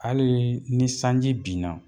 Halii ni sanji binna